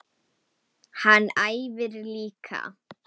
Hann æfir líka.